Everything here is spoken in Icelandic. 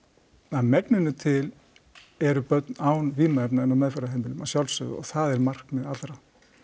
að megninu til eru börn án vímuefna inni á meðferðarheimilum að sjálfsögðu og það er markmið allra